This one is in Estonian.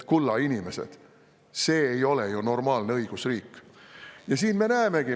Kulla inimesed, see ei ole ju normaalne õigusriik!